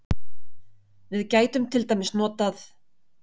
Við gætum til dæmis notað